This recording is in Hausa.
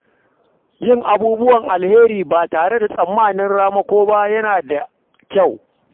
Yin abubuwan alheri ba tare da tsammanin ramako ba yana da kyau.